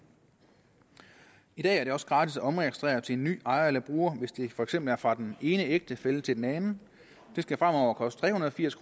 i dag er det også gratis at omregistrere til en ny ejer eller bruger hvis det for eksempel er fra den ene ægtefælle til den anden det skal fremover koste tre hundrede og firs